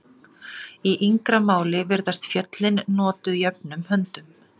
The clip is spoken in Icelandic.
Í yngra máli virðast föllin notuð jöfnum höndum.